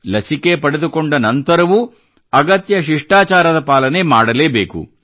ಲಸಿಕೆ ಪಡೆದುಕೊಂಡ ನಂತರವೂ ಅಗತ್ಯ ಶಿಷ್ಟಾಚಾರದ ಪಾಲನೆ ಮಾಡಲೇ ಬೇಕು